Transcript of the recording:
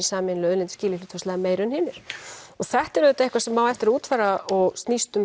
sameiginlegu auðlind skili hlutfallslega meiru en hinir og þetta er auðvitað eitthvað sem á eftir að útfæra og snýst um